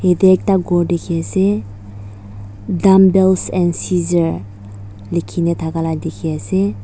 yate ekta ghor dikhiase dumbbels and scissor likhina thakala dikhiase.